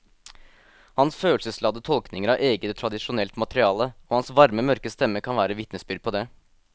Hans følelsesladde tolkninger av eget og tradisjonelt materiale og hans varme mørke stemme kan være vitnesbyrd på det.